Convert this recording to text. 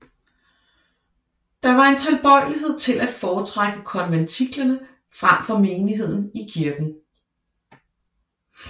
Der var en tilbøjelighed til at foretrække konventiklerne frem for menigheden i kirken